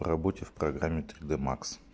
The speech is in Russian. работе в программе три д макс